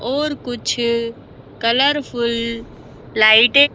और कुछ colourful light --